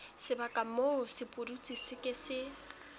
sebaka moo sepudutsi se ke